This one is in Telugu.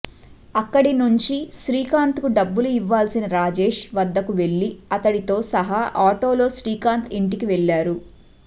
అక్కడి నుంచి శ్రీకాంత్కు డబ్బులు ఇవ్వాల్సిన రాజేష్ వద్దకు వెళ్లి అతడితో సహా ఆటోలో శ్రీకాంత్ ఇంటికి వెళ్లారు